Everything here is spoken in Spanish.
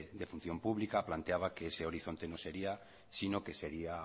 de función pública que planteaba que ese horizonte no sería sino que sería